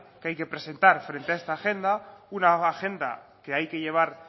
que hay que presentar frente a esta agenda una nueva agenda que hay que llevar